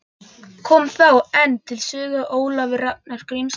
Kom þá enn til sögu Ólafur Ragnar Grímsson.